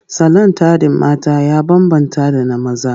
Salon taɗin mata ya bambanta da na maza.